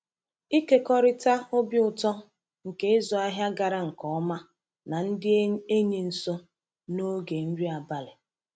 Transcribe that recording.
Ịkekọrịta obi ụtọ nke ịzụ ahịa gara nke ọma na ndị enyi nso n’oge nri abalị.